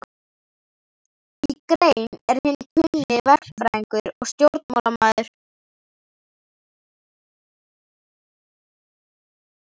Í grein, er hinn kunni verkfræðingur og stjórnmálamaður